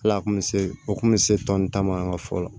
Hal'a kun bɛ se o kun bɛ se tɔni ta ma an ka fɔlɔ